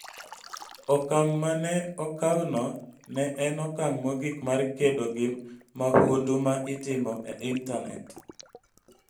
Okang' ma ne okawno ne en okang' mogik mar kedo gi mahundu ma itimo e intanet.